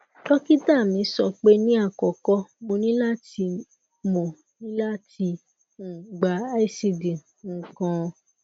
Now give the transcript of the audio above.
dokita mi sọpe ni akọkọ mo ni lati mo ni lati um gba icd um kan